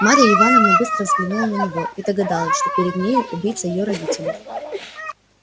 марья ивановна быстро взглянула на него и догадалась что перед нею убийца её родители